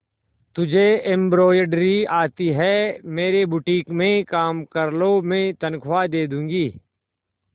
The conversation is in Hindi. तुझे एंब्रॉयडरी आती है मेरे बुटीक में काम कर लो मैं तनख्वाह दे दूंगी